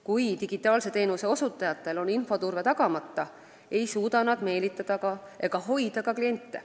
Kui digitaalse teenuse osutajatel on infoturve tagamata, ei suuda nad meelitada ega hoida ka kliente.